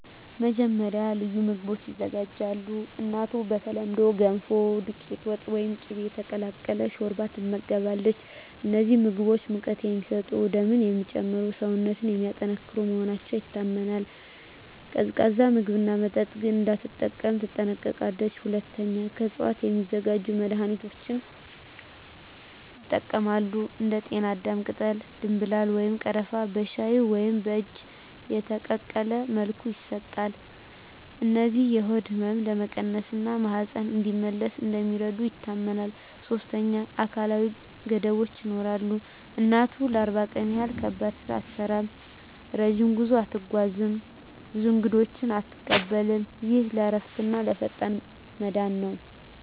መጀመሪያ፣ ልዩ ምግቦች ይዘጋጃሉ። እናቱ በተለምዶ “ገንፎ”፣ “ዱቄት ወጥ” ወይም “ቅቤ የተቀላቀለ ሾርባ” ትመገባለች። እነዚህ ምግቦች ሙቀት የሚሰጡ፣ ደምን የሚጨምሩ እና ሰውነትን የሚያጠናክሩ መሆናቸው ይታመናል። ቀዝቃዛ ምግብና መጠጥ ግን እንዳትጠቀም ትጠነቀቃለች። ሁለተኛ፣ ከእፅዋት የሚዘጋጁ መድኃኒቶች ይጠቀማሉ። እንደ ጤናዳም ቅጠል፣ ደምብላል ወይም ቀረፋ በሻይ ወይም በእጅ የተቀቀለ መልኩ ይሰጣሉ። እነዚህ የሆድ ህመምን ለመቀነስ እና ማህፀን እንዲመለስ እንደሚረዱ ይታመናል። ሶስተኛ፣ አካላዊ ገደቦች ይኖራሉ። እናቱ ለ40 ቀን ያህል ከባድ ስራ አትሠራም፣ ረጅም ጉዞ አትጓዝም፣ ብዙ እንግዶችንም አትቀበልም። ይህ ለእረፍትና ለፈጣን መዳን ነው